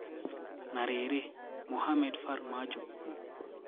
Na rĩrĩ, Mohamed Farmajo nũũ?